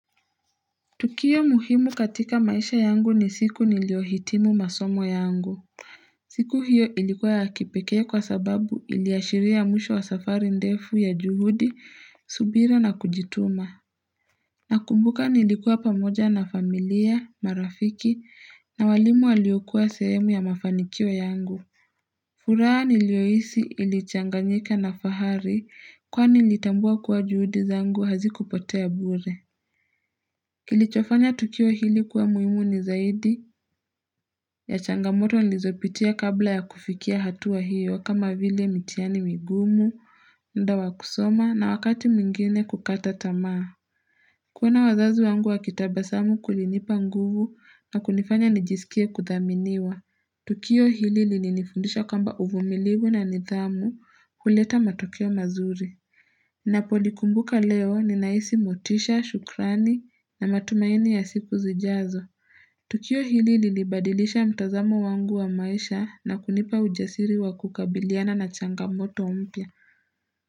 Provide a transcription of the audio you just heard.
Tukio muhimu katika maisha yangu ni siku niliyohitimu masomo yangu. Siku hiyo ilikuwa ya kipekee kwa sababu iliashiria mwisho wa safari ndefu ya juhudi, subira na kujituma. Nakumbuka nilikuwa pamoja na familia, marafiki, na waalimu waliokua sehemu ya mafanikio yangu. Furaha niliyohisi ilichanganyika na fahari kwani nilitambua kuwa juhudi zangu hazikupotea bure. Kilichofanya tukio hili kuwa muhimu ni zaidi, ya changamoto nilizopitia kabla ya kufikia hatua hiyo kama vile mitihani migumu, muda kusoma na wakati mingine kukata tamaa. Kuona wazazi wangu wakitabasamu kulinipa nguvu na kunifanya nijisikie kuthaminiwa. Tukio hili li nifundisha kwamba uvumilivu na nithamu huleta matukio mazuri. Ninapo likumbuka leo ninahisi motisha, shukrani na matumaini ya siku zijazo. Tukio hili lilibadilisha mtazamo wangu wa maisha na kunipa ujasiri wa kukabiliana na changamoto mpya.